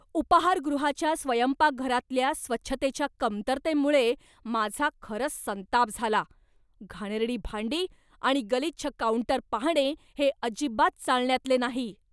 उपाहारगृहाच्या स्वयंपाकघरातल्या स्वच्छतेच्या कमतरतेमुळे माझा खरंच संताप झाला. घाणेरडी भांडी आणि गलिच्छ काउंटर पाहणे हे अजिबात चालण्यातले नाही.